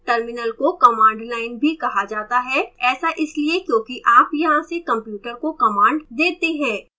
terminal को command line भी कहा जाता है ऐसा इसलिए क्योंकि आप यहाँ से कंप्यूटर को command देते हैं